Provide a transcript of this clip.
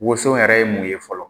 Woson yɛrɛ ye mun ye fɔlɔ.